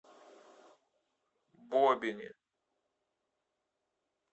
бобине